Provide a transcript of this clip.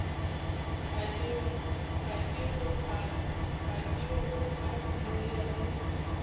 a kego a dumele ge